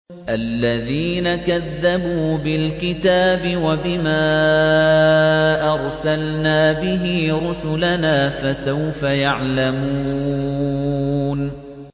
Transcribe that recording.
الَّذِينَ كَذَّبُوا بِالْكِتَابِ وَبِمَا أَرْسَلْنَا بِهِ رُسُلَنَا ۖ فَسَوْفَ يَعْلَمُونَ